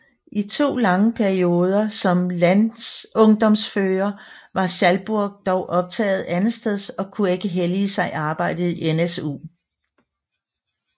I to lange perioder som landsungdomsfører var Schalburg dog optaget andetsteds og kunne ikke hellige sig arbejdet i NSU